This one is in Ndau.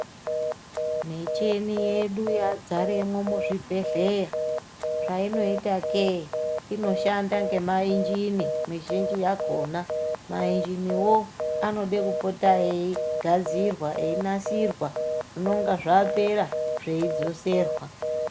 Micheni yedu yadzaremwo muzvibhedhleya. Zvainoitake, inoshanda ngemainjini mizhinji yakhona. Mainjiniwo anode kupota eigadzirwa, einasirwa, zvinonga zvapera, zveidzoserwa.